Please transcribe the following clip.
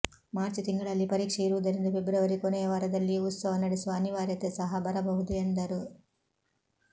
March ತಿಂಗಳಲ್ಲಿ ಪರೀಕ್ಷೆ ಇರುವುದರಿಂದ ಫೆಬ್ರುವರಿ ಕೊನೆಯ ವಾರದಲ್ಲಿಯೂ ಉತ್ಸವ ನಡೆಸುವ ಅನಿವಾರ್ಯತೆ ಸಹ ಬರಬಹುದು ಎಂದರು